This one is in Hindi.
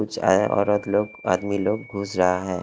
कुछ औरत लोग आदमी लोग घुस रहा है।